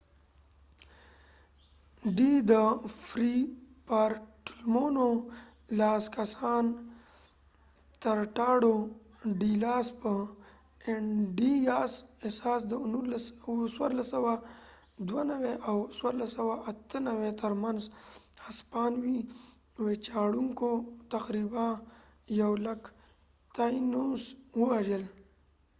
د فری بارټولمو fray bartolomeډی لاس کساس ټراټاډو ډی لاس انډیاسtratado de las indias په اساس د 1492 او 1498 تر منځ هسپانوي ويچاړونکو تقریبا یو لک تاینوس ووژل